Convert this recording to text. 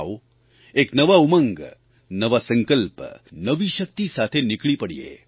આવો એક નવા ઉમંગ નવા સંકલ્પ નવી શક્તિ સાથે નીકળી પડીએ